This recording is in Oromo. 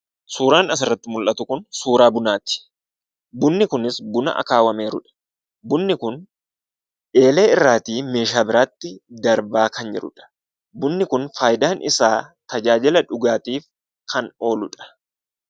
Suuraan asirratti mul'atu kun suuraa bunaati. Bunni kunis buna akaawaamerudha. Bunni kun eeleerrati meeshaa biraatti darbaa kan jirudha. Bunni kun fayidaan isaa tajaajila dhugaatiif kan ooludha.